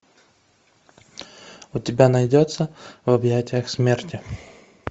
у тебя найдется в объятиях смерти